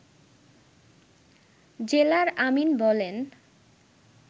জেলার আমীন বলেন